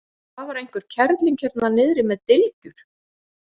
Það var einhver kerling hérna niðri með dylgjur.